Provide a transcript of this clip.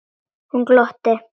Hún glotti.